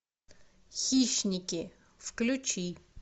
хищники включи